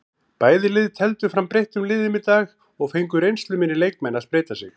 Bæði lið tefldu fram breyttum liðum í dag og fengu reynsluminni leikmenn að spreyta sig.